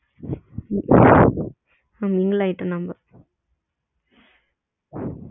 சாதரணம ஆகிட்டு ஆமா mingle ஆகிட்டோம் நம்ம ம் ஆனா